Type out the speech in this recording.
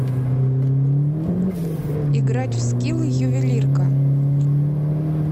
играть в скилл ювелирка